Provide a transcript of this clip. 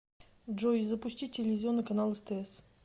джой запустить телевизионный канал стс